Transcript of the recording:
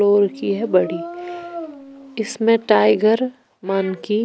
Floor की है बड़ी इसमें टाइगर मन की।